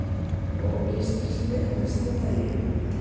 Og ógestrisni af versta tagi.